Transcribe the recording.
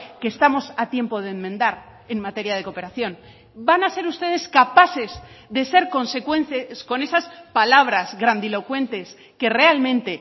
que estamos a tiempo de enmendar en materia de cooperación van a ser ustedes capaces de ser consecuentes con esas palabras grandilocuentes que realmente